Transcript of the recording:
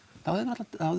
þá hefðu